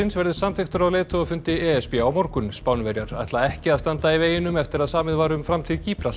verði samþykktur á leiðtogafundi e s b á morgun Spánverjar ætla ekki að standa í veginum eftir að samið var um framtíð